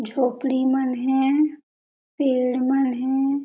झोपडी मन हे पेड़ मन हे।